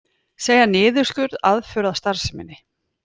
Segja niðurskurð aðför að starfseminni